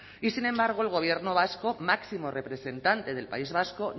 y sin embargo el gobierno vasco máximo representante del país vasco